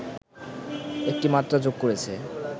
একটি মাত্রা যোগ করেছে